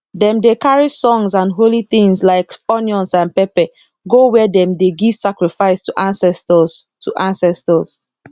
dem dey carry songs and holy things like onion and pepper go where dem dey give sacrifice to ancestors to ancestors